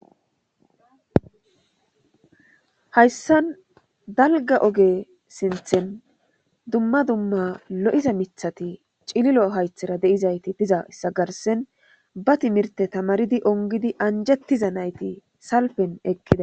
hayssan dalga oge sinthen dumma dumma lo7iza mithati cililo haythera deizayti diza issa garsen ba timirte tamaridi ongidi anjettiza nayti salfen ekkida